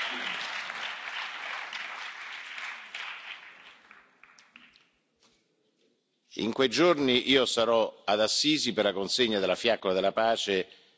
In quei giorni io sarò ad Assisi per la consegna della fiaccola della pace ai reali di Giordania, insieme al Presidente del Consiglio italiano, Giuseppe Conte, e alla Cancelliera